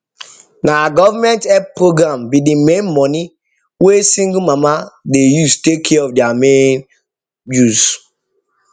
na government help program be d main money wey single mama dey use take care of their main use